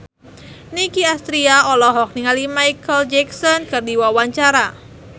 Nicky Astria olohok ningali Micheal Jackson keur diwawancara